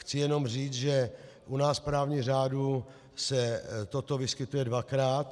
Chci jenom říct, že u nás v právním řádu se toto vyskytuje dvakrát.